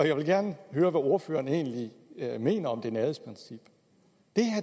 jeg vil gerne høre hvad ordføreren egentlig mener om det nærhedsprincip